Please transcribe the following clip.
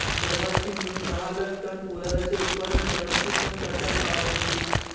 सर्वाची मिळून दहा लाख टन पोलादाचे उत्पादन करण्याची क्षमता त्या काळात होती